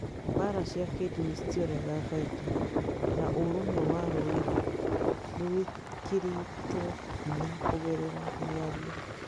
Mbaara cia kĩĩndini citionekaga kaingĩ, na ũrũmwe wa rũrĩrĩ nĩ wĩkĩrĩtwo hinya kũgerera mĩario.